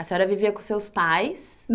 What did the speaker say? A senhora vivia com seus pais?